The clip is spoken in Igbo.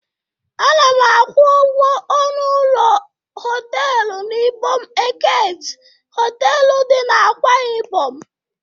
Ana m akwụ ụgwọ ọnụ ụlọ họtelụ n'Ibom Eket Họtelụ dị n'Akwa Ibom.